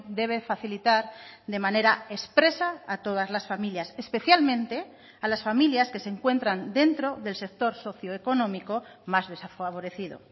debe facilitar de manera expresa a todas las familias especialmente a las familias que se encuentran dentro del sector socioeconómico más desfavorecido